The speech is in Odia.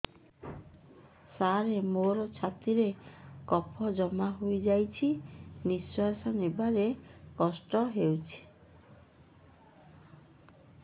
ସାର ମୋର ଛାତି ରେ କଫ ଜମା ହେଇଯାଇଛି ନିଶ୍ୱାସ ନେବାରେ କଷ୍ଟ ହଉଛି